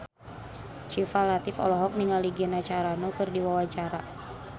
Syifa Latief olohok ningali Gina Carano keur diwawancara